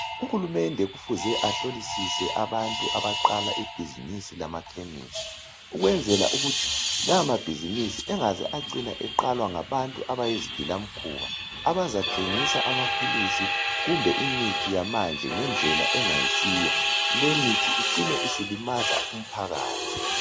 Uhulumende kufuze mele ahlolisise abantu abaqala ibhizimisi lamakhemisi. . Ukwenzela ukuthi lawamabhizimisi engaze acina eqalwa ngabantu abayizigilamkhuba. Abazathengisa amaphilisi, kumbe imithi yamanje, ngendlela engayisiyo. Lemithi icine isilimaza umphakathi.